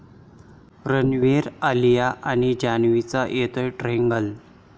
रणबीर, आलिया आणि जान्हवीचा येतोय ट्रॅंगल!